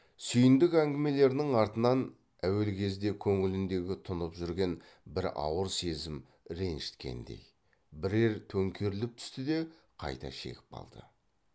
сүйіндік әңгімелерінің артынан әуел кезде көңіліндегі тұнып жүрген бір ауыр сезім ренжіткендей бірер төңкеріліп түсті де қайта шегіп қалды